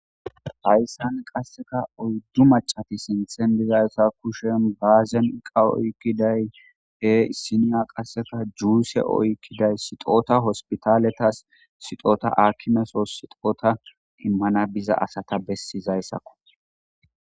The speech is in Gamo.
Hayssan qassikka oyddu maccethi sinththen diya kushen baazenqqa oykiday des; qa issinna qassikka juuse oyqqidey sixootha hosppitaalethas sixoota aakimesoos sixootha immana biza asatha bessizayssa ko.